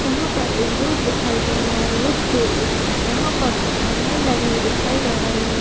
यहां पर एक रोड दिखाई दे रहा है रोड के यहां पर कुछ हरियाणवी लगे हुए दिखाई दे रहा है--